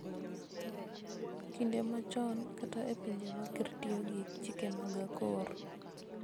Kinde machon kata e pinje ma ker tiyo gi chike mag akor